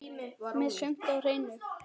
Með sumt á hreinu.